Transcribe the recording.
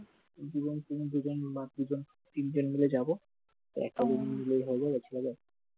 দুজন তিনজন বা তিনজন মিল যাব, একটা নিলেই হলো